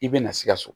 I bɛna sikaso